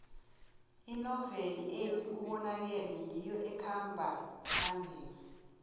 inoveli ethi ubonakele ngiyo ekhamba phambili